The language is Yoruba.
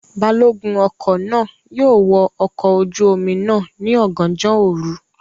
Balogun ọkọ náà yóò wọ ọkọ̀ ojú omi náà ní ọ̀gànjọ́ òru